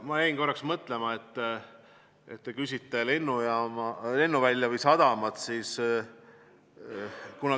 Ma jäin korraks mõtlema, et te küsite lennuvälja või sadama kohta.